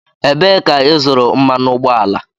Ebee ka ịzụrụ mmanụ ụgbọala?